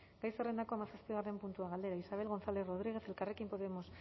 gai zerrendako hamazazpigarren puntua galdera isabel gonzález rodríguez elkarrekin podemos